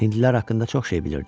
Hindlilər haqqında çox şey bilirdi.